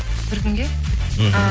бір күнге мхм